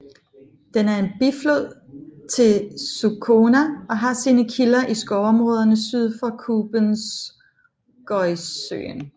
Den er en biflod til Sukhona og har sine kilder i skovområderne syd for Kubenskojesøen